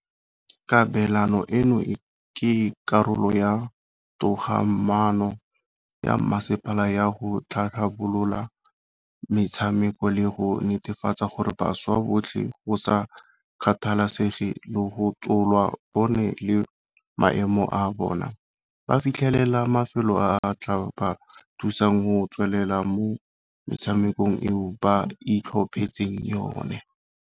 Kabelano eno ke karolo ya togamano ya masepala ya go tlhabolola metshameko le go netefatsa gore bašwa botlhe, go sa kgathalesege lotso lwa bone le maemo a bona, ba fitlhelela mafelo a a tla ba thusang go tswelela mo metshamekong eo ba itlhophetseng yone.